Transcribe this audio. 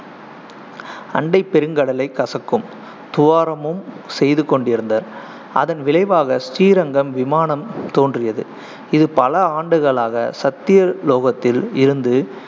அண்டைப் பெருங்கடலைக் கசக்கும் துவாரமும் செய்து கொண்டிருந்தர், அதன் விளைவாக ஸ்ரீரங்கம் விமானம் தோன்றியது இது பல ஆண்டுகளாக சத்யலோகத்தில் இருந்து